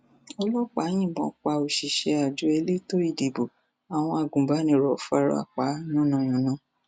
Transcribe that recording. ọlọpàá yìnbọn pa òṣìṣẹ àjọ elétò ìdìbò àwọn agunbánirò fara pa yànnà yànna